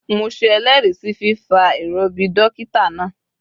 Mo se eléèrí sí fífa ìròbì dókítà náà